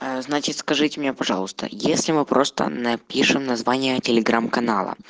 ээ значит скажите мне пожалуйста если мы просто напишем название телеграмм канала